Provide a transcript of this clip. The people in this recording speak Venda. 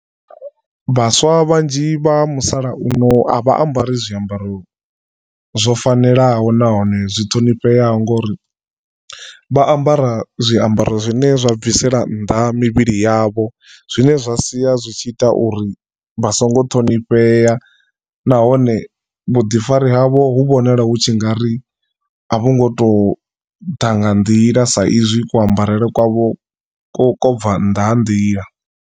Vhaswa vhanzhi vha musalauno a vha ambari zwiambaro zwo fanelaho nahone zwi ṱhonifheaho ngori vha ambara zwiambaro zwine zwa bvisela nnḓa mivhili yavho, zwine zwa sia zwi tshi ita uri vha songo ṱhonifhea nahone vhuḓifari havho hu vhonala hu tshi nga ri a vhu ngo tou ḓa nga nḓila sa izwi ku ambarele kwavho ku ko bva nnḓa ha nḓila.